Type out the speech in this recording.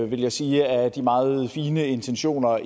vil jeg sige at det er meget fine intentioner